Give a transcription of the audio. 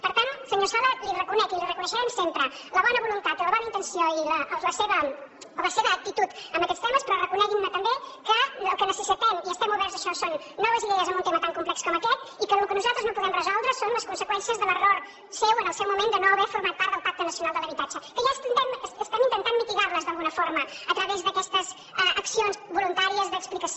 per tant senyor sala la hi reconec i la hi reconeixerem sempre la bona voluntat i la bona intenció i la seva actitud en aquests temes però reconeguin me també que el que necessitem i estem oberts a això són noves idees en un tema tan complex com aquest i que el que nosaltres no podem resoldre són les conseqüències de l’error seu en el seu moment de no haver format part del pacte nacional de l’habitatge que ja estem intentant mitigar lo d’alguna forma a través d’aquestes accions voluntàries d’explicació